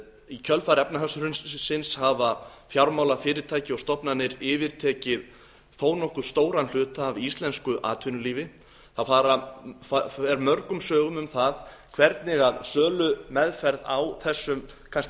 í kjölfar efnahagshrunsins hafa fjármálafyrirtæki og stofnanir yfirtekið þó nokkuð stóran hluta af íslensku atvinnulífi það fer mörgum sögum um það hvernig sölumeðferð á þessum kannski